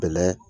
Bɛlɛ